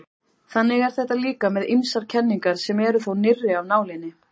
þannig er þetta líka með ýmsar kenningar sem eru þó nýrri af nálinni